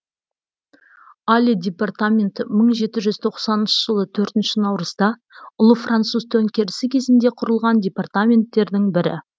алье департаменті мың жеті жүз тоқсаныншы жылы төртінші наурызда ұлы француз төңкерісі кезінде құрылған департаменттерінің бірі